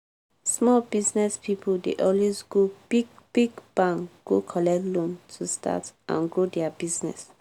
small business pipo dey always go big-big bank go collect loan to start and grow dia business.